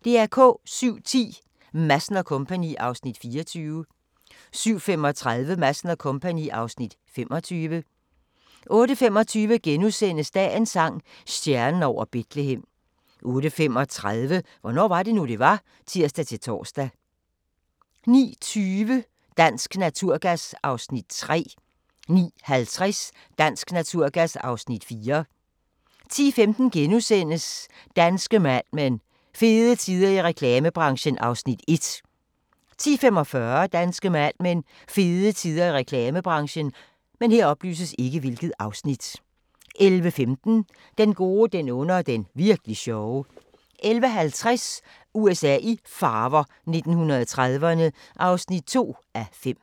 07:10: Madsen & Co. (Afs. 24) 07:35: Madsen & Co. (Afs. 25) 08:25: Dagens sang: Stjernen over Betlehem * 08:35: Hvornår var det nu, det var? (tir-tor) 09:20: Dansk Naturgas (Afs. 3) 09:50: Dansk Naturgas (Afs. 4) 10:15: Danske Mad Men: Fede tider i reklamebranchen (Afs. 1)* 10:45: Danske Mad Men: Fede tider i reklamebranchen 11:15: Den gode, den onde og den virkli' sjove 11:50: USA i farver – 1930'erne (2:5)